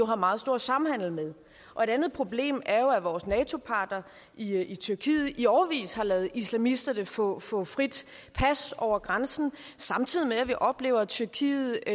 har meget stor samhandel med og et andet problem er at vores nato partner i i tyrkiet i årevis har ladet islamisterne få få fri passage over grænsen samtidig med at vi oplever tyrkiet